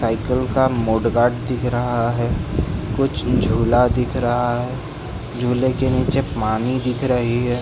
Cycle का mudguard दिख रहा है कुछ झूला दिख रहा है झूले के नीचे पानी दिख रही है ।